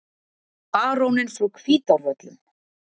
BARÓNINN FRÁ HVÍTÁRVÖLLUM